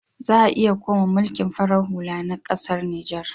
Za ayi koma mulkin farar hula na ƙasar Niger.